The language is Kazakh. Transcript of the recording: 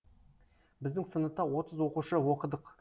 біздің сыныпта отыз оқушы оқыдық